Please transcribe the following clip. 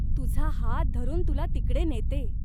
तुझा हात धरून तुला तिकडे नेते.